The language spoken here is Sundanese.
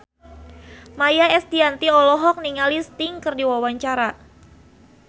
Maia Estianty olohok ningali Sting keur diwawancara